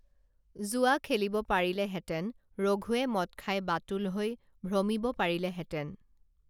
জুৱা খেলিব পাৰিলেহেঁতেনে ৰঘুৱে মদ খাই বাতুল হৈ ভ্ৰমিব পাৰিলেহেঁতেনে